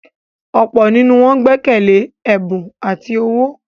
ọ̀pọ̀ nínú wọn gbẹ́kẹ̀lẹ́ “ẹ̀bù ati owó ”.